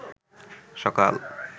সকাল